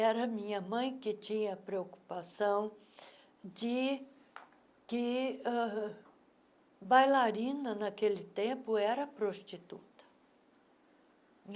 Era minha mãe que tinha a preocupação de que uh bailarina, naquele tempo, era prostituta.